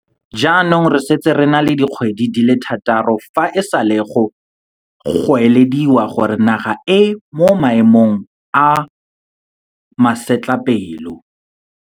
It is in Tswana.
Jaanong re setse re na le dikgwedi di le thataro fa e sale go goelediwa gore naga e mo maemong a masetlapelo.